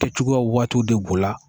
Tɛcogoya waatiw de bo a la